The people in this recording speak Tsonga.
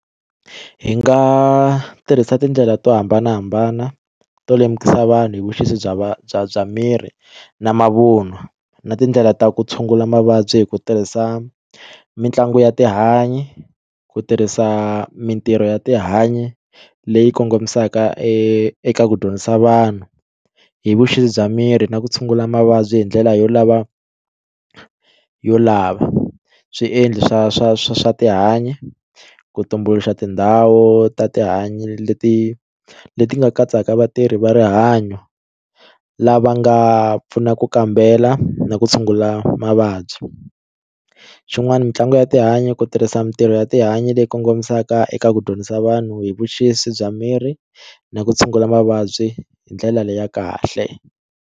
Hi nga tirhisa tindlela to hambanahambana to lemukisa vanhu hi vuxisi bya va bya bya miri na mavun'wa na tindlela ta ku tshungula mavabyi hi ku tirhisa mitlangu ya tihanyi ku tirhisa mitirho ya tihanyi leyi kongomisaka eka ku dyondzisa vanhu hi vuxisi bya miri na ku tshungula mavabyi hi ndlela yo lava yo lava swiendli swa swa swa swa tihanyi ku tumbuluxa tindhawu ta tihanyi leti leti nga katsaka vatirhi va rihanyo lava nga pfunaka ku kambela na ku tshungula mavabyi xin'wani mitlangu ya tihanyi ku tirhisa mitirho ya tihanyi leyi kongomisaka eka ku dyondzisa vanhu hi vuxisi bya miri na ku tshungula mavabyi hi ndlela leyi ya kahle.